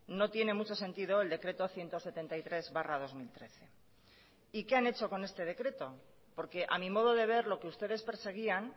no tiene mucho sentido el decreto ciento setenta y tres barra dos mil trece y qué han hecho con este decreto porque a mí modo de ver lo que ustedes perseguían